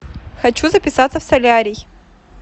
хочу записаться в солярий